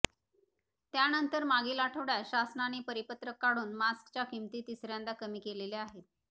त्यानंतर मागील आठवडयात शासनाने परिपत्रक काढून मास्कच्या किंमती तिसऱ्यांदा कमी केलेल्या आहेत